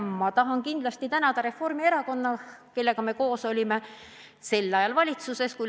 Ma tahan kindlasti tänada Reformierakonda, kellega me sel ajal koos valitsuses olime.